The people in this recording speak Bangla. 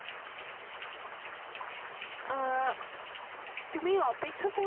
আহ তুমি অপেক্ষা